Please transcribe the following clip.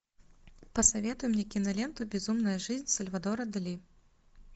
посоветуй мне киноленту безумная жизнь сальвадора дали